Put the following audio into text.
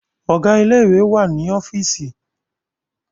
Ọ̀gá ilé ìwé wà ní ọ́fììsì.